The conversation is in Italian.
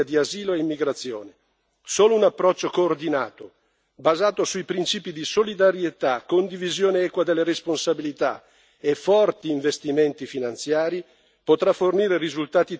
Solo un approccio coordinato, basato sui principi di solidarietà, condivisione equa delle responsabilità e forti investimenti finanziari, potrà fornire risultati tangibili in questa sfida decisiva per la stessa Europa.